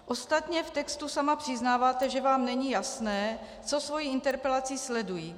Ostatně v textu sama přiznáváte, že vám není jasné, co svou interpelací sleduji.